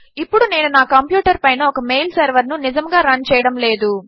ఇప్పుడు నేను నా కంప్యూటర్ పైన ఒక మెయిల్ సెర్వర్ ను నిజముగా రన్ చేయడము లేదు